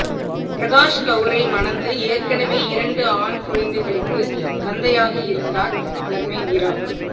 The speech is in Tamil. பிரகாஷ்கவுரை மணந்து ஏற்கனவே இரண்டு ஆண் குழந்தைகளுக்குத் தந்தையாக இருந்தார் தர்மேந்திரா